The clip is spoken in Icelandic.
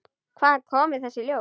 Hvaðan koma þessi hljóð?